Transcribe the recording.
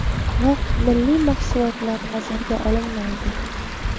Biroq milliy mahsulotlar nazarga olinmaydi.